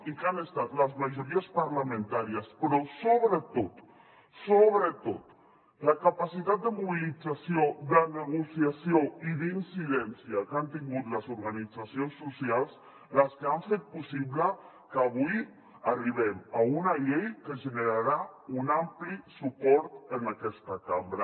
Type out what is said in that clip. i han estat les majories parlamentàries però sobretot sobretot la capacitat de mobilització de negociació i d’incidència que han tingut les organitzacions socials les que han fet possible que avui arribem a una llei que generarà un ampli suport en aquesta cambra